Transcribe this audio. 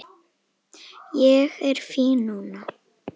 Ég er fínn núna